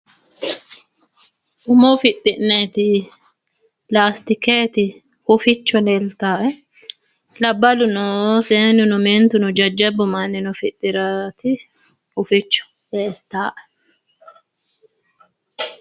Umo fixxi'naniti lastikenniti huficho leeltannoe labbaluno seennunno meentuno jajjabbu mannino fixxiraati huficho leeltannoe.